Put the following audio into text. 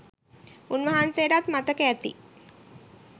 උන්වහන්සේටත් මතක ඇති..